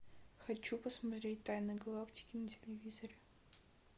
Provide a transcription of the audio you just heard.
хочу посмотреть тайны галактики на телевизоре